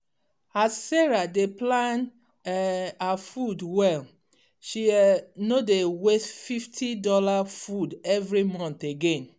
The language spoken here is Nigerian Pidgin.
as sarah dey plan um her food well she um no dey waste fifty dollars food every month again.